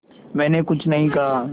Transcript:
मैंने कुछ नहीं कहा